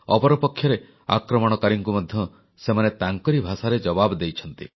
ଅପରପକ୍ଷରେ ଆକ୍ରମଣକାରୀଙ୍କୁ ମଧ୍ୟ ସେମାନେ ତାଙ୍କରି ଭାଷାରେ ଜବାବ ଦେଇଛନ୍ତି